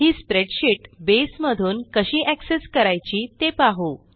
ही spreadsheet base मधून कशी access करायची ते पाहू